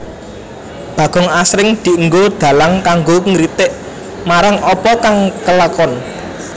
Bagong asring dienggo dhalang kanggo ngritik marang apa kang kelakon